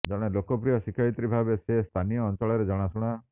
ଜଣେ ଲୋକପ୍ରିୟ ଶିକ୍ଷୟିତ୍ରୀ ଭାବେ ସେ ସ୍ଥାନୀୟ ଅଞ୍ଚଳରେ ଜଣାଶୁଣା